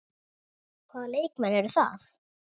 Hvaða leikmenn eru það?